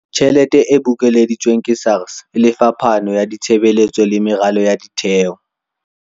Tjhelete e bokeleditsweng ke SARS e lefa phano ya ditshebeletso le meralo ya ditheo.